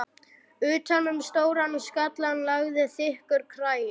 Utan um stóran skallann lagðist þykkur kragi.